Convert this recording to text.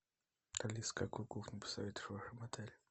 алиса какую кухню посоветуешь в этом отеле